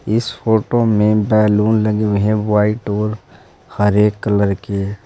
इस फोटो में बैलून लगे हुए हैं व्हाइट और हर एक कलर के।